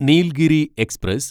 Nilgiri express